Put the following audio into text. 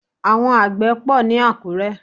Àwọn àgbè pò ní Àkúré.